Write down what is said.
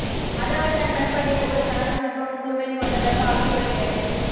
அதாவது தன் பண்பாட்டை ஒவ்வொரு கணமும் நுட்பமும் கூர்மையும் கொண்டதாக ஆக்கிக்கொள்கிறது